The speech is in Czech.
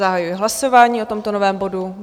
Zahajuji hlasování o tomto novém bodu.